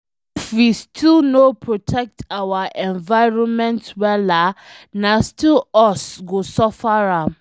If we no protect our environment wella, na still us go suffer am